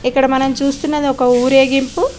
ఇక్కడ మనం చూస్తున్నది ఒక ఉరేగింపు --